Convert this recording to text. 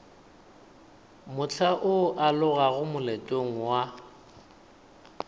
mohla o alogago moletlong wa